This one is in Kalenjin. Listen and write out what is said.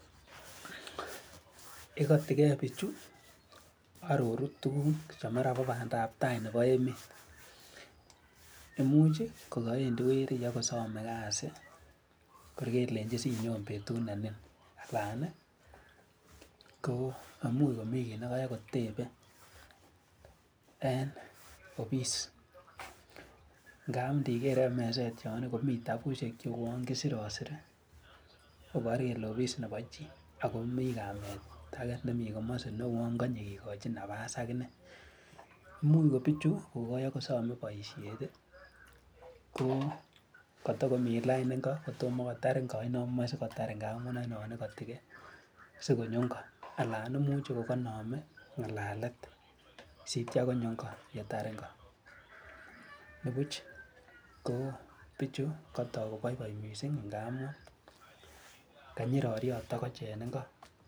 Ikoti gee bichuu ororu tukuk che mara ko pandap tai nebo emet, imuch chii kokowendii weri kobo kosome kazi anan kor kelenji sinyon betut nenin anan nii ko imuch komii kit nekotebe en office ngap idiker en meset yon nii komii tabushek che uwon kisirisiri kobor kole office nebo chii ako mii kamet age nemii komosi ne uwon konye kikochi nafas akinee, imuch ko bichu kokobo kosome boishet tii ko kotokomii lain iko kotomo kotar inko aino moche sikotar ngamun oinon ikoti gee sikonyo inko alan imuchi kokoinome ngalalet sityo konyo inko yeter ingo nibush ko bichu kotok koboiboi missing kanyi roriot tokoch en inko.